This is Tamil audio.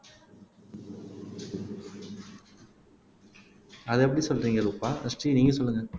அது எப்படி சொல்றீங்க ரூபா ஸ்ரீ நீங்க சொல்லுங்க